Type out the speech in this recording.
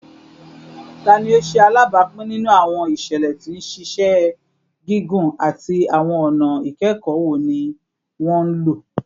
Tani o ṣe alabapin ninu awọn iṣẹlẹ ti nṣiṣẹ gigun, ati awọn ọna ikẹkọ wo ni wọn lo?